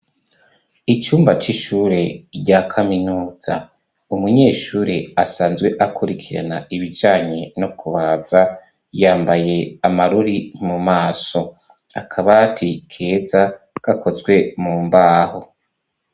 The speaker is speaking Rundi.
Icumba c'ishure rya kaminuza. Umunyeshure asanzwe akurikirana ibijanye no kubaza, yambaye amarori mu maso. Akabati keza gakozwe mu mbaho.